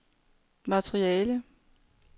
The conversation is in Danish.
materiale